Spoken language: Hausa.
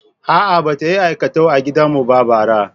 A'a, ba ta yi aikatau a gidan mu ba bara.